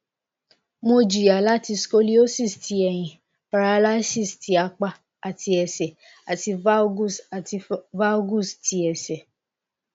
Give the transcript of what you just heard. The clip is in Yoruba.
mo jiya lati scoliosis ti ehin paralysis ti apa ati ese ati valgus ati valgus ti ese